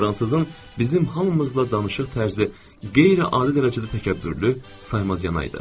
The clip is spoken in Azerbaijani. Fransızın bizim hamımızla danışıq tərzi qeyri-adi dərəcədə təkəbbürlü, saymazyana idi.